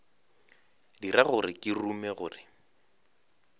dira gore ke rume gore